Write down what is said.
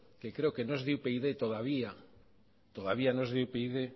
que creo que no es de upyd todavía todavía no es de upyd